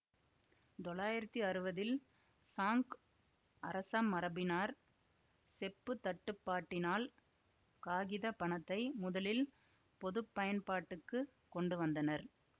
தொள்ளாயிரத்தி அறுவதில் சாங் அரசமரபினர் செப்பு தட்டுப்பாட்டினால் காகித பணத்தை முதலில் பொதுப்பயன்பாட்டுக்குக் கொண்டுவந்தனர்